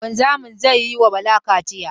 Wanzamin zai yi ma Bala kaciya.